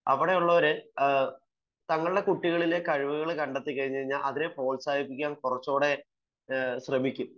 അവിടെയുള്ളവരുടെ കുട്ടികളിലെ കഴിവുകൾ കണ്ടെത്തിക്കഴിഞ്ഞാൽ അതിനെ പ്രോത്സാഹിപ്പിക്കാൻ കുറച്ചുകൂടെ ശ്രമിക്കും